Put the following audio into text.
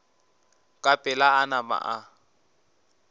ka pela a nama a